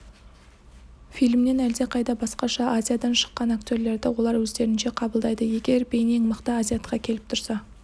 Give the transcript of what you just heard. фильмнен әлдеқайда басқаша азиядан шыққан актерлерді олар өздерінше қабылдайды егер бейнең мықты азиатқа келіп тұрса